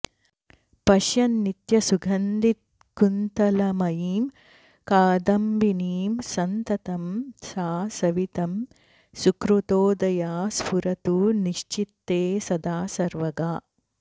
पश्यन् नित्यसुगन्धिकुन्तलमयीं कादम्बिनीं संततं सा संवित् सुकृतोदया स्फुरतु नश्चित्ते सदा सर्वगा